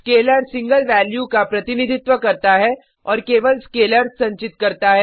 scalar single value का प्रतिनिधित्व करता है और केवल स्केलर्स संचित करता है